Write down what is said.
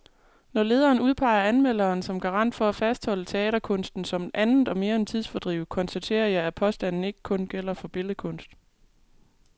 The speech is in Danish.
Når lederen udpeger anmelderen som garant for at fastholde teaterkunsten som andet og mere end tidsfordriv, konstaterer jeg, at påstanden ikke gælder for billedkunst.